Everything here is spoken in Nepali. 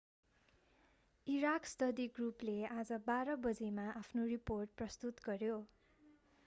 इराक स्टडी ग्रुपले आज 12.00 gmt मा आफ्नो रिपोर्ट प्रस्तुत गर्‍यो।